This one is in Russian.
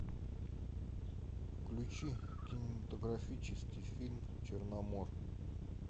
включи кинематографический фильм черномор